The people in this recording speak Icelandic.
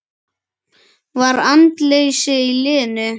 Var andleysi í liðinu?